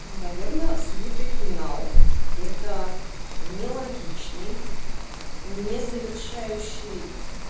ну наверное слитый финал это нелогичный не завершающий